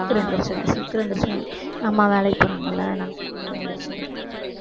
சீக்கிரமா எந்திரிச்சுடுவேன் சீக்கிரம் எந்திரிச்சிடுவேன் எங்க அம்மா வேலைக்கு போறாங்க இல்லை அதனால சீக்கிரமா எந்திரிச்சிருவேன்